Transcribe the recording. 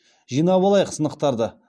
жинап алайық сынықтарды